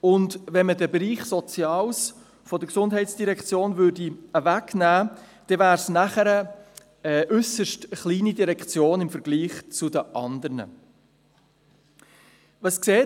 Zweitens: Wenn man den Bereich Soziales aus der Gesundheitsdirektion herauslöste, wäre diese danach eine äusserst kleine Direktion im Vergleich zu den anderen Direktionen.